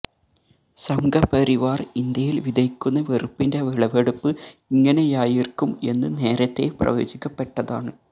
സംഘപരിവാർ ഇന്ത്യയിൽ വിതയ്ക്കുന്ന വെറുപ്പിന്റെ വിളവെടുപ്പ് ഇങ്ങനെയായിരിക്കും എന്ന് നേരത്തെ പ്രവചിക്കപ്പെട്ടതാണ്